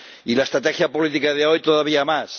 Y la estrategia política de hoy, todavía más.